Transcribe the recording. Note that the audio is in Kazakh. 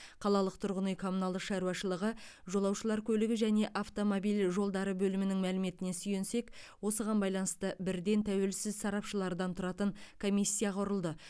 қалалық тұрғын үй коммуналдық шаруашылығы жолаушылар көлігі және автомобиль жолдары бөлімінің мәліметіне сүйенсек осыған байланысты бірден тәуелсіз сарапшылардан тұратын комиссия құрылды